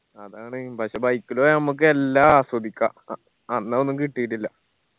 അതാണ് പക്ഷെ bike ല് പോയാ ഞമ്മക്ക് എല്ലാ ആസ്വദിക്കാ അ അന്ന് അതൊന്നും കിട്ടീട്ടില്ല